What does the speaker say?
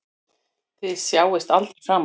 Þið sjáist aldrei framar.